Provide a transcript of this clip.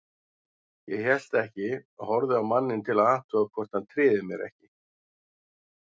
Ég hélt ekki, horfði á manninn til að athuga hvort hann tryði mér ekki.